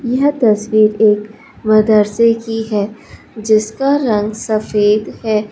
यह चित्र एक मदरसे की है जिसका रंग सफेद है।